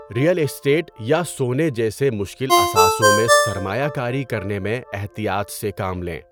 Real estate یا سونے جیسے مشکل اثاثوں میں سرمایہ کاری کرنے میں احتیاط سے کام لیں۔